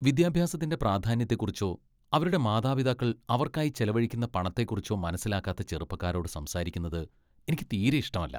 വിദ്യാഭ്യാസത്തിന്റെ പ്രാധാന്യത്തെക്കുറിച്ചോ അവരുടെ മാതാപിതാക്കൾ അവർക്കായി ചെലവഴിക്കുന്ന പണത്തെക്കുറിച്ചോ മനസ്സിലാക്കാത്ത ചെറുപ്പക്കാരോട് സംസാരിക്കുന്നത് എനിക്ക് തീരെ ഇഷ്ടമല്ല .